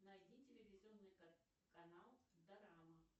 найди телевизионный канал дорама